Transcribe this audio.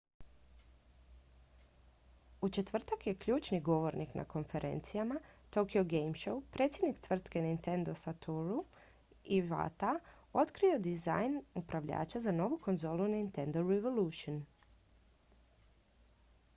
u četvrtak je ključni govornik na konferencijama tokyo game show predsjednik tvrtke nintendo satoru iwata otkrio dizajn upravljača za novu konzolu nintendo revolution